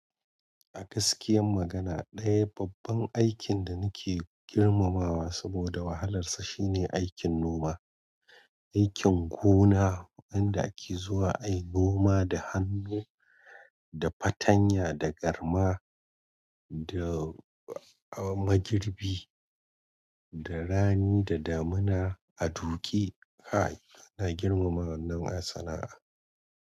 A gaskiyar magana ɗaya babban aikin da muke girmama wa saboda wahalar sa shine aikin noma. Aikin gona wanda ake zuwa ai noma da hannu, da fatanya, da garma, da, ah, magirbi, da rani da damina a doki. Ai, ana girmama wannan sana'a.